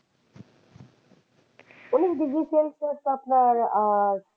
উনিশ degree celsius তো আপনার আহ